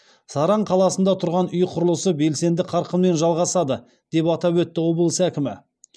саран қаласында тұрғын үй құрылысы белсенді қарқынмен жалғасады деп атап өтті облыс әкімі